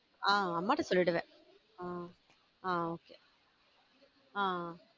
ஹம் அம்மா கிட்ட சொல்லிடுவேன் ஹம் ஆஹ் okay ஹம்